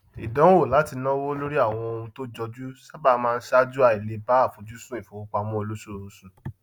ìdánwò láti náwó lórí àwọn ohun tó jọjú sábà máa ṣáájú àìleè bá àfojúsùn ìfowópamọ olósooṣù